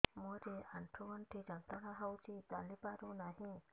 ମୋରୋ ଆଣ୍ଠୁଗଣ୍ଠି ଯନ୍ତ୍ରଣା ହଉଚି ଚାଲିପାରୁନାହିଁ